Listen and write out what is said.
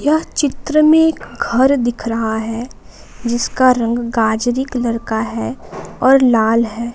यह चित्र में एक घर दिख रहा है जिसका रंग गजरी कलर का है और लाल है।